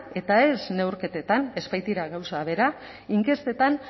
eta ez neurketetan ez baitira gauza bera inkestetan